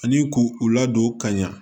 Ani k'u u ladon ka ɲɛ